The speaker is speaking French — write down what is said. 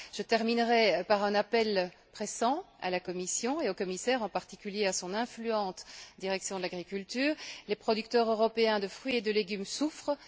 Je terminerai par un appel pressant à la Commission et au commissaire, en particulier à son influente direction de l'agriculture les producteurs européens de fruits et de légumes souffrent.